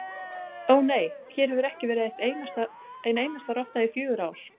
Ó, nei, hér hefur ekki verið ein einasta rotta í fjögur ár